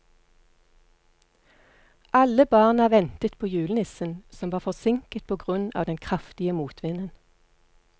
Alle barna ventet på julenissen, som var forsinket på grunn av den kraftige motvinden.